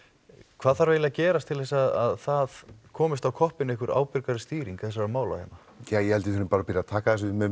hvað þarf eiginlega að gerast til að það komist á koppinn einhver stýring þessara mála hérna ég held við þurfum bara byrja taka þessu með